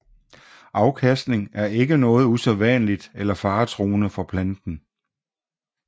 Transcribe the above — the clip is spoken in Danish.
Afkastning er ikke noget usædvanligt eller faretruende for planten